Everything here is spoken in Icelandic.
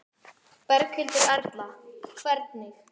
Berghildur Erla: Hvernig?